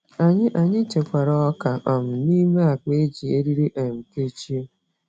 Anyị Anyị chekwara ọka um nime akpa e ji eriri um kechie